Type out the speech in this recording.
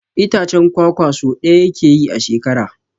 Itacen kwakwa so ɗaya yake yi a shekara.